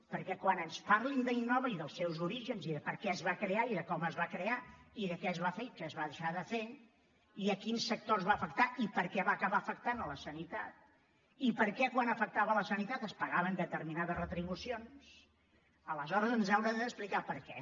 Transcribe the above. perquè quan ens parlin d’innova i dels seus orígens i de per què es va crear i de com es va crear i de què es va fer i què es va deixar de fer i a quins sectors va afectar i per què va acabar afectant la sanitat i per què quan afectava la sanitat es pagaven determinades retribucions aleshores ens haurà d’explicar per què